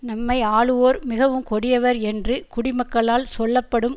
நம்மை ஆளுவோர் மிகவும் கொடியவர் என்று குடிமக்களால் சொல்ல படும்